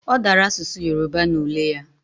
Odara asusu Yoruba na ule ya